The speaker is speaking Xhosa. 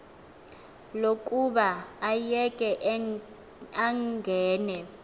lokuba ayeke angene